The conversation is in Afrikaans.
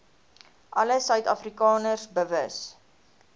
alle suidafrikaners bewus